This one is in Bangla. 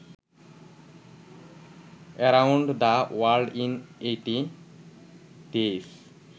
around the world in eighty days